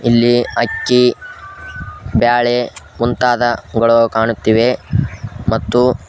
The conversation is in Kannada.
ಇಲ್ಲಿ ಅಕ್ಕಿ ಬ್ಯಾಳೆ ಮುಂತಾದವುಗಳು ಕಾಣುತ್ತಿವೆ ಮತ್ತು--